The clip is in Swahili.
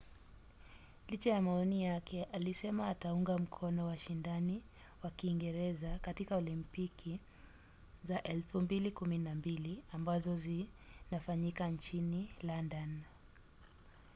licha ya maoni yake alisema ataunga mkono washindani wa kiingereza katika olimpiki za 2012 ambazo zinafanyika nchini london